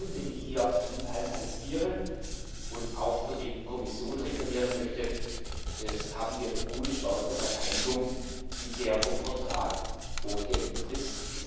Bei gutem Willen, den ich hier Ihnen alle attestiere und auch für die Kommission reklamieren möchte, haben wir gute Chancen auf eine Einigung in der vom Vertrag vorgegebenen Frist.